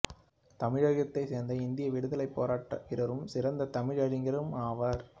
தமிழகத்தைச் சேர்ந்த இந்திய விடுதலைப் போராட்ட வீரரும் சிறந்த தமிழறிஞரும் ஆவார்